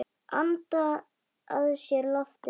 Anda að sér loftinu ein.